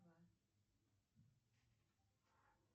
салют какая любимая книга